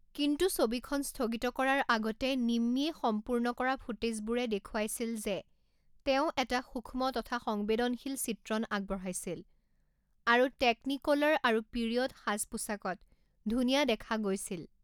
কিন্তু ছবিখন স্থগিত কৰাৰ আগতে নিম্মিয়ে সম্পূৰ্ণ কৰা ফুটেজবোৰে দেখুৱাইছিল যে তেওঁ এটা সূক্ষ্ম তথা সংবেদনশীল চিত্ৰণ আগবঢ়াইছিল আৰু টেকনিক'লাৰ আৰু পিৰিয়ড সাজ পোছাকত ধুনীয়া দেখা গৈছিল।